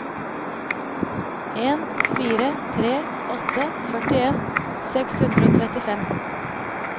en fire tre åtte førtien seks hundre og trettifem